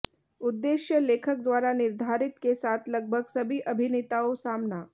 उद्देश्य लेखक द्वारा निर्धारित के साथ लगभग सभी अभिनेताओं सामना